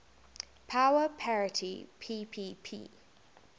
power parity ppp